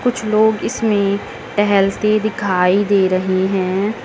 कुछ लोग इसमें टहलते दिखाई दे रहे हैं।